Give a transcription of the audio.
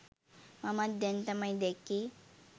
මමත් දැන් තමයි දැක්කේ.